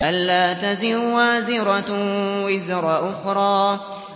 أَلَّا تَزِرُ وَازِرَةٌ وِزْرَ أُخْرَىٰ